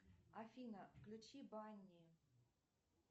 афина включи банни